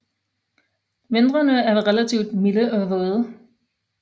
Vintrene er relativt milde og våde